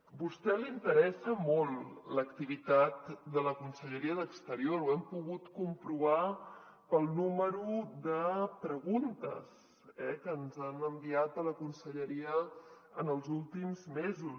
a vostè li interessa molt l’activitat de la conselleria d’exterior ho hem pogut comprovar pel número de preguntes eh que ens han enviat a la conselleria en els últims mesos